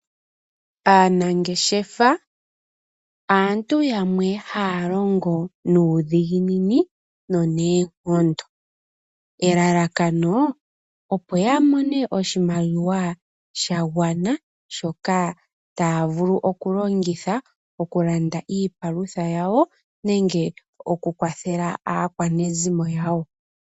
Aanangeshefa aantu yamwe haa longo nuudhiginini noneenkondo, elalakano opo yamone oshimaliwa shagwana shoka taa vulu okulongitha oku landa iipalutha yawo nenge oku kwathela aakwa nezimo yawo.